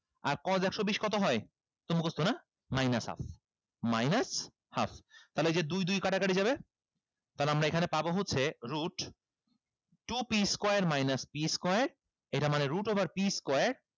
আর cos একশো বিশ কত হয় এটাতো মুখস্থ না minus half minus half তাইলে এই যে দুই দুই কাটাকাটি যাবে তাহলে আমরা এখানে পাবো হচ্ছে root two p square minus p square এইটা মানে root over p square